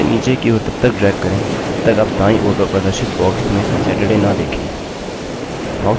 इसे नीचे की ओर तब तक drag करें जब तक आप दाईं ओर पर प्रदर्शित box में saturday न देखें